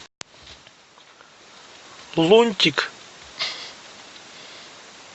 лунтик